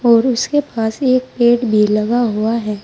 और उसके पास एक पेड़ भी लगा हुआ है।